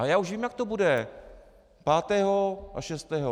Ale já už vím, jak to bude - pátého a šestého.